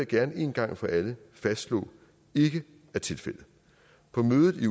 gerne en gang for alle fastslå ikke er tilfældet på mødet i